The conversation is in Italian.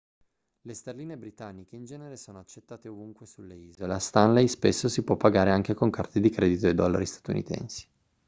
le sterline britanniche in genere sono accettate ovunque sulle isole a stanley spesso si può pagare anche con carte di credito e dollari statunitensi